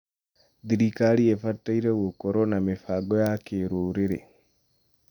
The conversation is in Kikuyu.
Thirikari ĩbatiĩ gũkorwo na mĩbango ya kĩrũrĩrĩ.